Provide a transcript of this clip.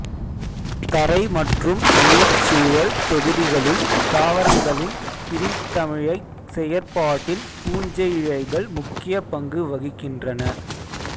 தரை மற்றும் நீர்ச் சூழல் தொகுதிகளில் தாவரங்களின் பிரிந்தழிகைச் செயற்பாடில் பூஞ்சையிழைகள் முக்கிய பங்கு வகிக்கின்றன